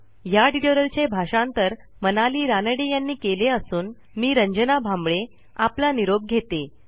ह्या ट्युटोरियलचे भाषांतर मनाली रानडे यांनी केले असून मी रंजना भांबळे आपला निरोप घेते160